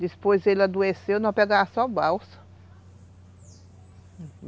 Depois ele adoeceu, nós pegávamos só balsa.